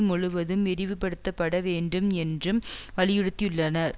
முழுவதும் விரிவுபடுத்தப்பட வேண்டும் என்றும் வலியுறுத்தியுள்ளனர்